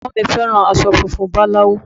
Ẹ̀gbọ́n mi fẹ́ràn aṣọ funfun báláú